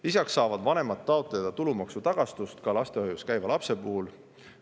Lisaks saavad vanemad taotleda tulumaksutagastust ka lastehoius käiva lapse puhul.